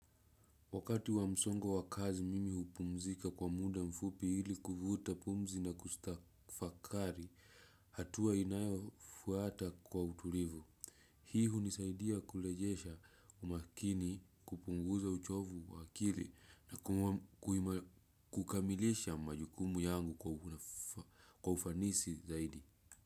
Wakati wa msongo wa kazi mimi hupumzika kwa muda mfupi hili kuvuta pumzi na kustafakari, hatua inayofuata kwa utulivu. Hii hunisaidia kurejesha umakini kupunguza uchovu wa akili na kukamilisha majukumu yangu kwa ufanisi zaidi.